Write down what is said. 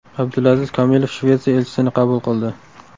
Abdulaziz Kamilov Shvetsiya elchisini qabul qildi.